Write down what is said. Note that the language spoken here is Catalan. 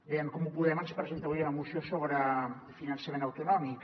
bé en comú podem ens presenta avui una moció sobre finançament autonòmic